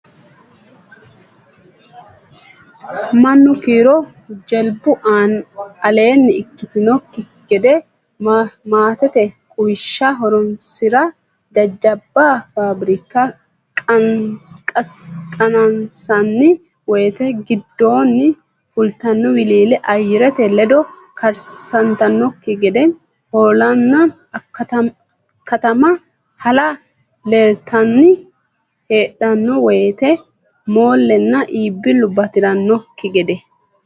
mannu kiiro jilbu aleenni ikkitannokki gede maatete quwishsha horonsi ra jajjabba faabirika qansanni wote giddonni fultanno wiliile ayyarete ledo karsantannokki gede hoolanna kattamma hala litanni hadhanno woyte moollenna iibbillu bati rannokki.